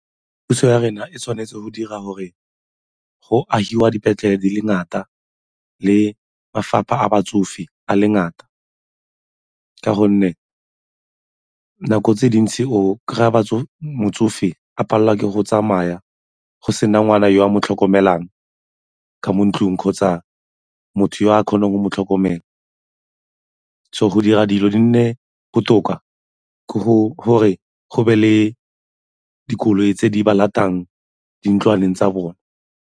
Puso ya rona e tshwanetse go dira gore go agiwa dipetlele di le ngata le mafapha a batsofe a le ngata ka gonne nako tse di ntse o kry-a motsofe a palelwa ke go tsamaya go sena ngwana yo a mo tlhokomelang ka mo ntlong kgotsa motho yo a kgonang go mo tlhokomela go dira dilo di nne botoka ka go gore go be le dikoloi tse di ba latang dintlwaneng tsa bone.